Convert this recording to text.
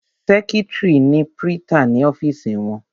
Sẹ́kítrì ni prítà ní ọ́fìsì wọn.